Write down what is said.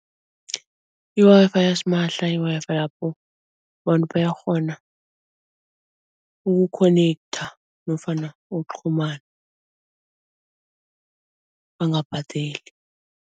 I-Wi-Fi yasimahla yi-Wi-Fi lapho abantu bayakghona ukukhonekhtha nofana ukuqhumana bangabhadeli.